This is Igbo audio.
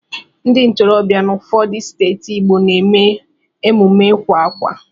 Ndị ntorobịa nọ n'ụfọdụ steeti Igbo na-eme emume ịwa ákwà.